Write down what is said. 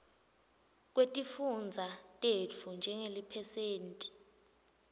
kwetifundza tetfu njengeliphesenti